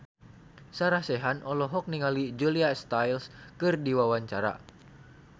Sarah Sechan olohok ningali Julia Stiles keur diwawancara